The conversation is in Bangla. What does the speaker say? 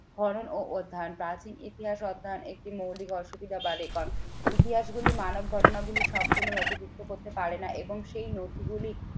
করণ ও অধ্যায়ন প্রাচীন ইতিহাস অধ্যায়ন একটি মৌলিক অসুবিধা বা record ইতিহাস গুলি মানব ঘটনাগুলি সম্পূর্ণ নথিভূক্ত করতে পারেনা এবং সেই নথিগুলি